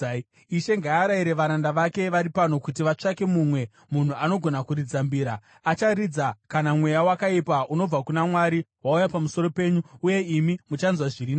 Ishe ngaarayire varanda vake vari pano kuti vatsvake mumwe munhu anogona kuridza mbira. Acharidza kana mweya wakaipa unobva kuna Mwari wauya pamusoro penyu, uye imi muchanzwa zviri nani.”